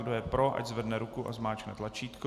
Kdo je pro, ať zvedne ruku a zmáčkne tlačítko.